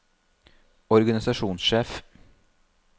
organisasjonssjef